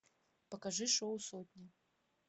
покажи шоу сотня